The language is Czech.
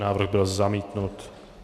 Návrh byl zamítnut.